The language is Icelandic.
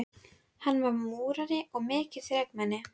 Hann var múrari og mikið þrekmenni.